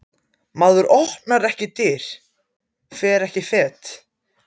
Maður opnar ekki dyr, fer ekki fet.